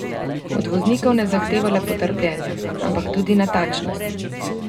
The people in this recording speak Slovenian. Od voznikov ne zahteva le potrpljenja, ampak tudi natančnost.